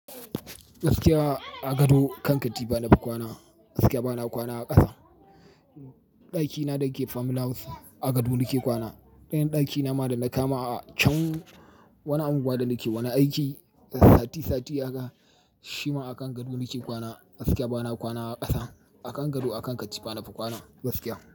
Gaskiya a gado kanka tifa nafi kwana, gaskiya bana kwana a ƙasa. Ɗakina da yake farmhouse a gado nake kwana. Ɗayan ɗakina ma da na kama a can wani anguwa da nake wana aiki sati sati, shi ma a kan gado nake kwana. Gaskiya bana kwana a ƙasa, a kan gado akankatifa nafi kwana gaskiya.